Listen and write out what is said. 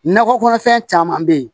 Nakɔ kɔnɔfɛn caman bɛ yen